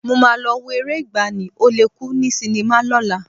Mo máa lọ wo eré ìgbàanì, Ó le kú ní sinimá lọ́la